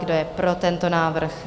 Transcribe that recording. Kdo je pro tento návrh?